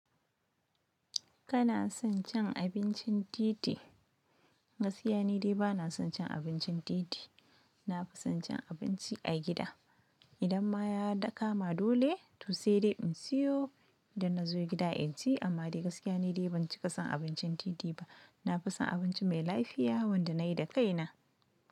Kana son cin abincin titi? Gaskiya ni dai bana son cin abincin titi. Na fi son cin abinci a gida. Idan ma ya kama dole to sai dai in siyo, da na zo gida in ci. Amma dai gaskiya ni dai ban cika son abincin titi ba. Na fi son abinci mai lafiya wanda na yi da kaina.